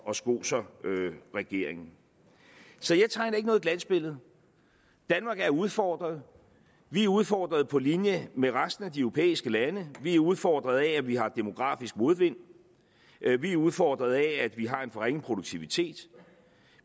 og skoser regeringen så jeg tegner ikke noget glansbillede danmark er udfordret vi er udfordret på linje med resten af de europæiske lande vi er udfordret af at vi har demografisk modvind vi er udfordret af at vi har en for ringe produktivitet